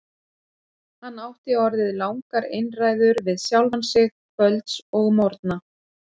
Hann átti orðið langar einræður við sjálfan sig kvölds og morgna.